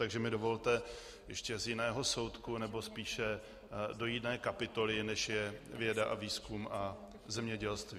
Takže mi dovolte ještě z jiného soudku, nebo spíše do jiné kapitoly, než je věda a výzkum a zemědělství.